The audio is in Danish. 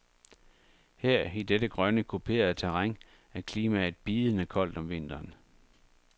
Her i dette grønne, kuperede terræn er klimaet bidende koldt om vinteren.